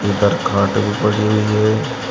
उधर खाट भी पड़ी हुई है।